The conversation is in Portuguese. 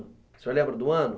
O senhor lembra do ano?